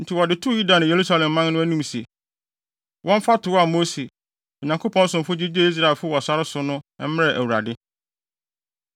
Enti wɔde too Yuda ne Yerusalemman anim sɛ, wɔmfa tow a Mose, Onyankopɔn somfo gyigyee Israelfo wɔ sare so no mmrɛ Awurade.